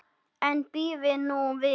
En bíðið nú við.